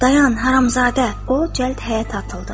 Dayan, haramzadə, o cəld qaç!